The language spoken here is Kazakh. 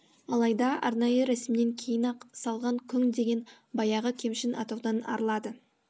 алайда арнайы рәсімнен кейін аяқ салған күң деген баяғы кемшін атаудан арылады